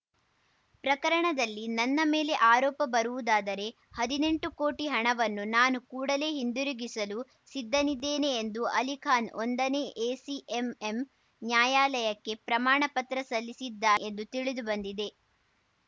ಪ್ರಕರಣದಲ್ಲಿ ನನ್ನ ಮೇಲೆ ಆರೋಪ ಬರುವುದಾದರೆ ಹದ್ನೆಂಟು ಕೋಟಿ ಹಣವನ್ನು ನಾನು ಕೂಡಲೇ ಹಿಂದಿರುಗಿಸಲು ಸಿದ್ಧನಿದ್ದೇನೆ ಎಂದು ಅಲಿಖಾನ್‌ ಒಂದನೇ ಎಸಿಎಂಎಂ ನ್ಯಾಯಾಲಯಕ್ಕೆ ಪ್ರಮಾಣ ಪತ್ರ ಸಲ್ಲಿಸಿದ್ದಾನೆ ಎಂದು ತಿಳಿದುಬಂದಿದೆ